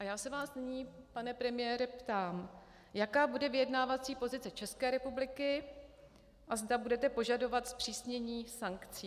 A já se vás nyní, pane premiére ptám, jaká bude vyjednávací pozice České republiky a zda budete požadovat zpřísnění sankcí.